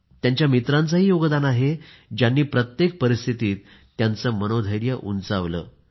त्यांच्या मित्रांचेही योगदान आहे ज्यांनी प्रत्येक परिस्थितीत त्यांचे मनोधैर्य उंचावले